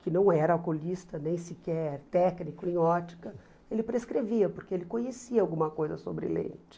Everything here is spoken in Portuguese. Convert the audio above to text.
que não era oculista, nem sequer técnico em ótica, ele prescrevia, porque ele conhecia alguma coisa sobre lente.